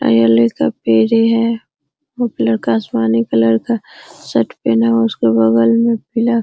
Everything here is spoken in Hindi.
ब्लू कलर का आसमानी कलर का टी-शर्ट पहना हुआ है उसके बगल में पीला --